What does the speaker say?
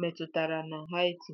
metụtara na Haiti?